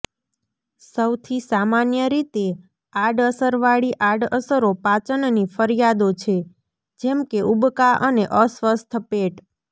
સૌથી સામાન્ય રીતે આડઅસરવાળી આડઅસરો પાચનની ફરિયાદો છે જેમ કે ઉબકા અને અસ્વસ્થ પેટ